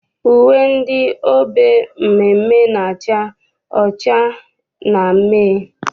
Uwe ndị obe mmeemmee na-acha ọcha na mmee.